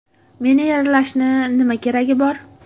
Meni yaralashni nima keragi bor?